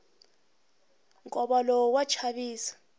nkova lowu wa chavisa